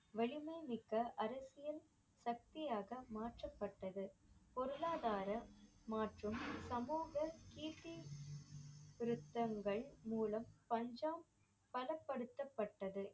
வலிமை மிக்க அரசியல் சக்தியாக மாற்றப்பட்டது பொருளாதார மாற்றும் சமூக கீர்த்தி சிருத்தங்கள் மூலம் பஞ்சாப் பலப்படுத்தப்பட்டது